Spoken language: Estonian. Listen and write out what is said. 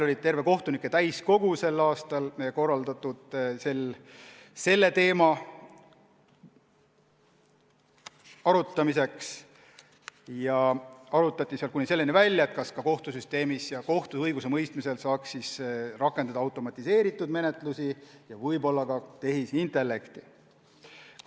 Korraldasime sel aastal terve kohtunike täiskogu selle teema arutamiseks ja seal arutati probleeme kuni selleni välja, kas ka kohtusüsteemis ja kohtu õigusemõistmisel saaks rakendada automatiseeritud menetlusi ja võib-olla ka tehisintellekti.